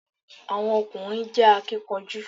Àwọn ọ̀kùnrin jẹ́ akínkanjú